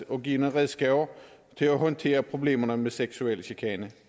og give nogle redskaber til at håndtere problemerne med seksuel chikane